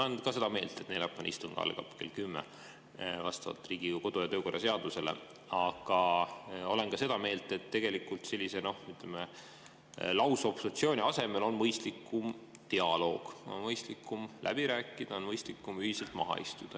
Ma olen ka seda meelt, et neljapäevane istung algab vastavalt Riigikogu kodu‑ ja töökorra seadusele kell kümme, aga olen ka seda meelt, et tegelikult sellise, ütleme, lausobstruksiooni asemel on mõistlikum dialoog, on mõistlikum läbi rääkida, on mõistlikum ühiselt maha istuda.